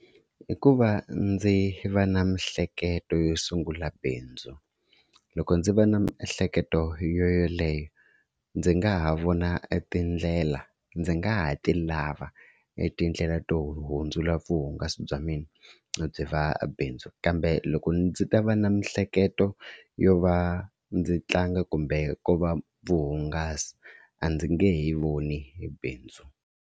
I ku va ndzi va na miehleketo yo sungula bindzu, loko ndzi va na miehleketo yoyaleyo ndzi nga ha vona etindlela ndzi nga ha ti lava etindlela to hundzula vuhungasi bya mina byi va bindzu. Kambe loko ndzi ta va na miehleketo yo va ndzi tlanga kumbe ko va vuhungasi a ndzi nge he voni hi bindzu.